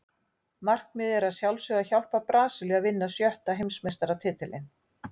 Markmiðið er að sjálfsögðu að hjálpa Brasilíu að vinna sjötta Heimsmeistaratitilinn.